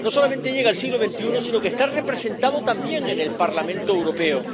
No solamente llega al siglo XXI, sino que está representado también en el Parlamento Europeo.